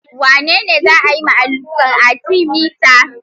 Wane ne za a yi ma alluran Arthemether?